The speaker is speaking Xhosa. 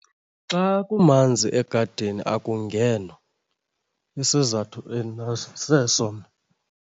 Xa kumanzi egadini akungenwa. Isizathu endinaso seso mna.